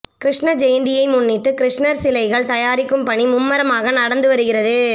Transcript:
கிருஷ்ண ஜெயந்தியை முன்னிட்டு கிருஷ்ணர் சிலைகள் தயாரிக்கும் பணி மும்முரமாக நடந்து வருகிறது